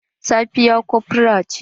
Safiya kofra ce.